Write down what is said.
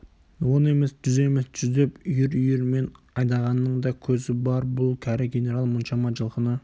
он емес жүз емес жүздеп үйір-үйірімен айдағанның да көзі бар бұл кәрі генерал мұншама жылқыны